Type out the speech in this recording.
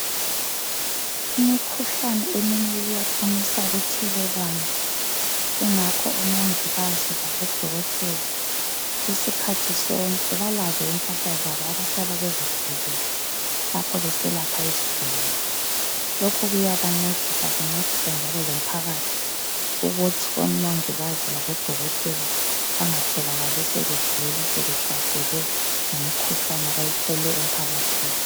Imikhuhlane eminye iyakwanisa ukuthelelwana ingakho omongikazi labodokotela, isikhathi sonke labazo impahla zabo abahlala bezigqokile lapho beselapha izigulane. Lokhu kuyabancedisa kuncedise njalo lomphakathi ukuthi omongikazi labodokotela bangatholakali sebegula sebehlaselwe yimikhuhlane abayithole ephakathini.